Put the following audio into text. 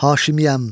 Haşimiyəm.